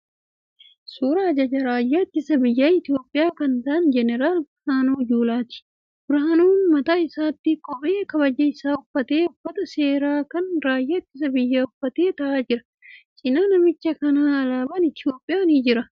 Suuraa ajajaa raayyaa ittisa biyyaa Itiyoopiyaa kan ta'aan Jeneraal Birnaanuu Juulaati. Birhaanuun mataa isaatti kephee kabajaa isaa uffatee uffata seeraa kan raayyaa ittisa biyyaa uffatee ta'aa jira. Cina namicha kanaan alaabaan Itiyoopiyaa jira.